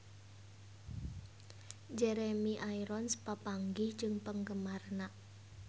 Jeremy Irons papanggih jeung penggemarna